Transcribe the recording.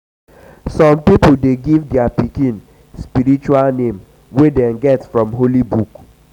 some pipo um de give their pikin um spiritual name wey them get from holy book um